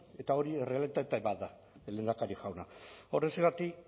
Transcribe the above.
eta hori errealitate bat da lehendakari jauna horrexegatik